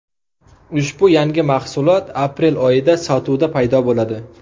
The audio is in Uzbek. Ushbu yangi mahsulot aprel oyida sotuvda paydo bo‘ladi.